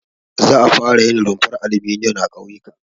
Za a fara yin rumfar alminiyom a ƙauyuka.